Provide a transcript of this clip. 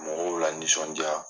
Mɔgɔw lanisɔndiya